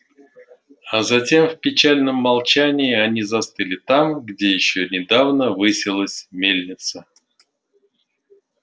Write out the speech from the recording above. а затем в печальном молчании они застыли там где ещё недавно высилась мельница